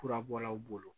Furabɔlaw bolo